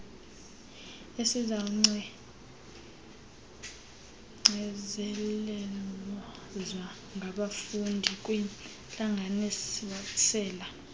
esizawucengcelezwa ngabafundi kwiintlanganisela